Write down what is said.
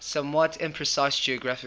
somewhat imprecise geographical